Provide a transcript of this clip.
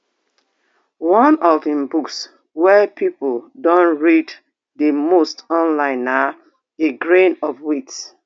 one of im books wey pipo don read di most online na a grain of wheat